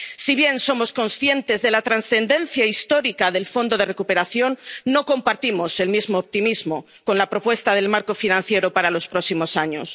Si bien somos conscientes de la trascendencia histórica del fondo de recuperación, no compartimos el mismo optimismo con la propuesta del marco financiero para los próximos años.